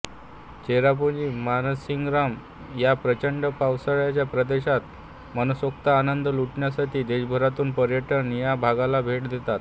चेरापुंजी मानसिंगराम या प्रचंड पावसाच्या प्रदेशात मनसोक्त आनंद लुटण्यासाठी देशभरातून पर्यटक या भागाला भेट देतात